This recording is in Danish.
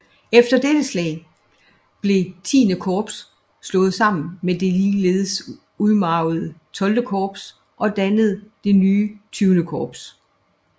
Efter dette slag blev XI Korps slået sammen med det ligeledes udmarvede XII Korps og dannede det nye XX Korps